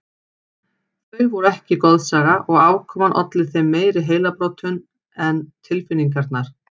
Þau voru ekki goðsaga og afkoman olli þeim meiri heilabrotum en tilfinningarnar.